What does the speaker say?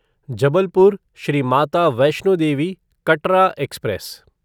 Jabalpur Shri Mata Vaishno Devi Katra express